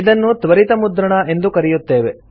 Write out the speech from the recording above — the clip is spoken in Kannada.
ಇದನ್ನು ತ್ವರಿತ ಮುದ್ರಣ ಎಂದು ಕರೆಯುತ್ತೇವೆ